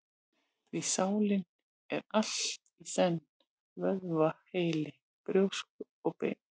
Því sálin er allt í senn: vöðvi, heili, brjósk og bein.